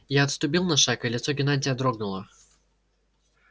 я отступил на шаг и лицо геннадия дрогнуло